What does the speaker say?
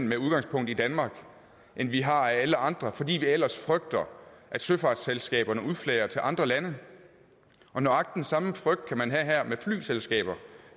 med udgangspunkt i danmark end vi har af alle andre fordi vi ellers frygter at søfartsselskaberne udflager til andre lande nøjagtig den samme frygt kan man have her med flyselskaber